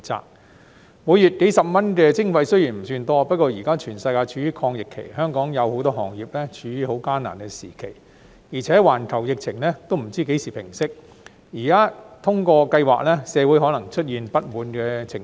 雖然每月數十元的徵費不算多，不過現在全世界處於抗疫期，香港有很多行業處於艱難的時期，而且環球疫情仍未知何時平息，現在通過計劃，社會可能會出現不滿情緒。